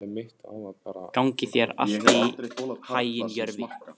Gangi þér allt í haginn, Jörvi.